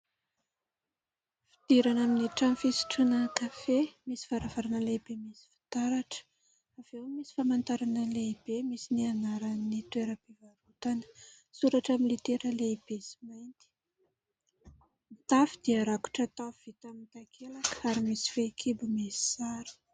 Fidirana amin'ny trano fisotroana kafe misy varavarana lehibe misy fitaratra ; avy eo misy famantarana lehibe misy ny anaran'ny toeram-pivarotana ; soratra amin'ny litera lehibe sy mainty. Ny tafo dia rakotra tafo vita amin'ny takelaka ary misy fehi-kibo misy sary.